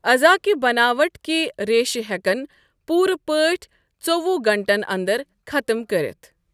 عضا كہِ بناوٹ كہِ ریشہٕ ہیكن پوٗرٕ پٲٹھۍ ژووُہ گھنٹَن انٛدَر ختٕم گٕٔژِھِ ۔